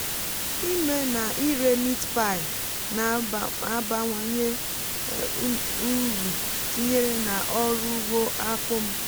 ịme na ire meat pie na-abawanye um m uru tinyéré na ọrụ ugbo akpụ m